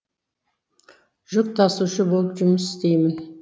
жүк тасушы болып жұмыс істеймін